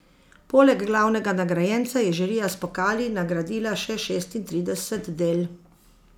Poleg glavnega nagrajenca je žirija s pokali nagradila še šestintrideset del.